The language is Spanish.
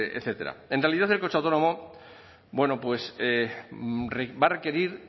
etcétera en realidad el coche autónomo bueno pues va a requerir